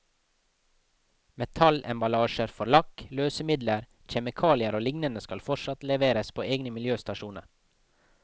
Metallemballasje for lakk, løsemidler, kjemikalier og lignende skal fortsatt leveres på egne miljøstasjoner.